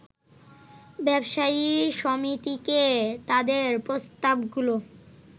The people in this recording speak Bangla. ব্যবসায়ী সমিতিকে তাদের প্রস্তাবগুলো